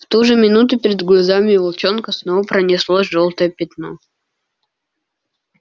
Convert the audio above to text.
в ту же минуту перед глазами у волчонка снова пронеслось жёлтое пятно